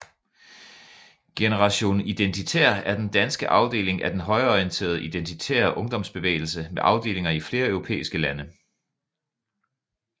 Generation Identitær er den danske afdeling af den højreorienterede identitære ungdomsbevægelse med afdelinger i flere europæiske lande